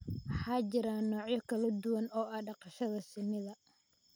Waxaa jira noocyo kala duwan oo ah dhaqashada shinnida